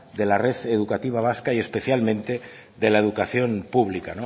de la red educativa vasca y especialmente de la educación pública